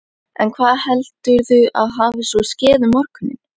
En hvað heldurðu að hafi svo skeð um morguninn?